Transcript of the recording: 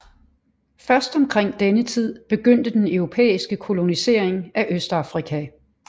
Først omkring denne tid begyndte den europæiske kolonisering af Østafrika